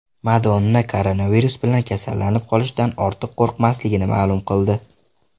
Madonna koronavirus bilan kasallanib qolishdan ortiq qo‘rqmasligini ma’lum qildi.